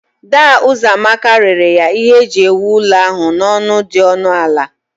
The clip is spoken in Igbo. Daa Uzoamaka rere ya ihe eji ewu ụlọ ahụ n'ọnụ dị ọnụ ala